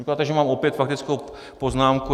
Říkáte, že mám opět faktickou poznámku.